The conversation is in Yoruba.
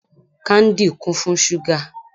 Káńdì kún fún ṣúgà.